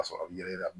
Ka sɔrɔ a bi yɛlɛma